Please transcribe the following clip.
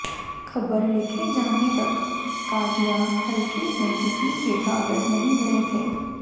खबर लिखे जाने तक कादियां हलके से किसी ने कागज नहीं भरे थे